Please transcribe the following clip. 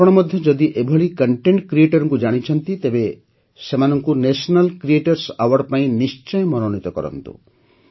ଆପଣ ମଧ୍ୟ ଯଦି ଏଭଳି କଣ୍ଟେଣ୍ଟ Creatorଙ୍କୁ ଜାଣିଛନ୍ତି ତେବେ ସେମାନଙ୍କୁ ଘବଗ୍ଧସକ୍ଟଦ୍ଭବକ୍ଷ ଉକ୍ସରବଗ୍ଧକ୍ଟକ୍ସଗ୍ଦ ଇଙ୍ଗବକ୍ସୟ ପାଇଁ ନିଶ୍ଚୟ ମନୋନୀତ କରନ୍ତୁ